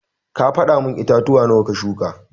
Ka fada mun itatuwa nawa ka shuka.